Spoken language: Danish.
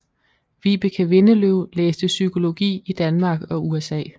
Vibeke Windeløv læste psykologi i Danmark og USA